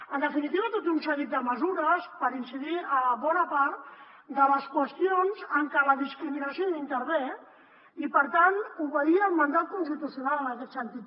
en definitiva tot un seguit de mesures per incidir en bona part de les qüestions en què la discriminació intervé i per tant obeir al mandat constitucional en aquest sentit